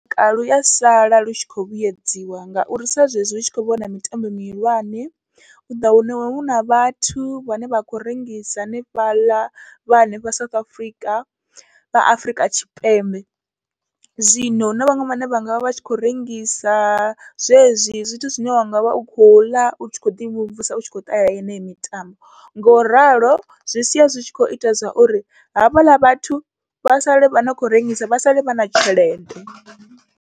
Ya sala lu tshi khou vhuyedziwa, ngauri sa zwezwi hu tshi khou vhona mitambo mihulwane uḓa wana huna vhathu vhane vha khou rengisa hanefhaḽa, vha hanefha South Africa vha Afrika Tshipembe, zwino huna vhaṅwe vhane vhanga vha vha tshi khou rengisa zwezwi zwithu zwine wa ngavha u khou ḽa utshi kho ḓi mvumvusa utshi kho ṱahela yeneyo mitambo. Ngauralo zwi sia zwi tshi kho ita zwauri havhaḽa vhathu vha sale vhane khou rengisa vha sale vha na tshelede.